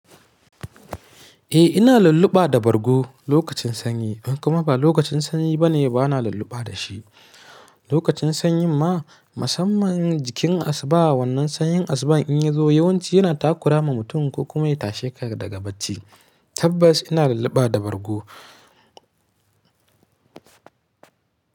Eh ina lalluba da bargo lokacin sanyi kuma ba lokacin sanyi bane bana lalluba da shi. Lokacin sanyi ma musamman jikin asuba wannan sanyin asuba in yi zo yawanci yana takura ma mutum ko kuma ya tashe ka daga bacci tabbas ina lalluba da bargo.